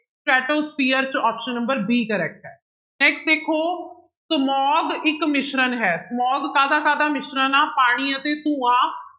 Stratosphere ਚ option number b correct ਹੈ next ਦੇਖੋ smog ਇੱਕ ਮਿਸ਼ਰਣ ਹੈ smog ਕਾਹਦਾ ਕਾਹਦਾ ਮਿਸ਼ਰਣ ਆਂ ਪਾਣੀ ਅਤੇ ਧੂੰਆਂ